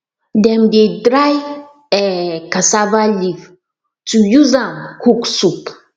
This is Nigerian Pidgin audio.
dem dey dry um cassava leaf to use um cook soup